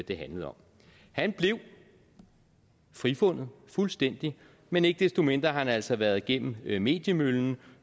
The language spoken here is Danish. det handlede om han blev frifundet fuldstændig men ikke desto mindre har han altså været igennem mediemøllen